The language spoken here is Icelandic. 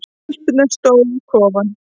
Stelpurnar stóðu við kofann.